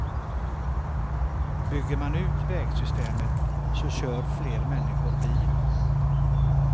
Bygger man ut vägsystemet, så kör fler människor bil.